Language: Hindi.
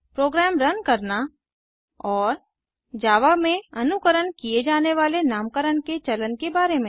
प्रोग्राम रन करना और जावा में अनुकरण किए जाने वाले नामकरण के चलन के बारे में